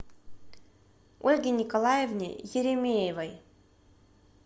ольге николаевне еремеевой